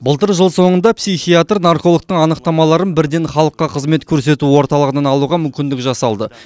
былтыр жыл соңында психиатр наркологтың анықтамаларын бірден халыққа қызмет көрсету орталығынан алуға мүмкіндік жасалды